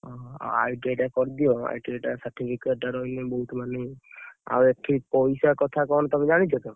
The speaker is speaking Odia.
ଓହୋ! ଆଉ ITI ଟା କରିଦିଅ ITI certificate ଟା ରହିଲେ, ବହୁତ ମାନେ ଆଉ ଏଠି ପଇସା କଥା କଣ ତମେ ଜାଣିଛ ତ?